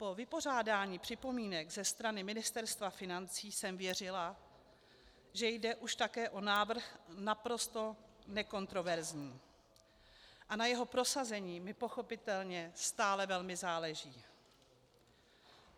Po vypořádání připomínek ze strany Ministerstva financí jsem věřila, že jde už také o návrh naprosto nekontroverzní, a na jeho prosazení mi pochopitelně stále velmi záleží.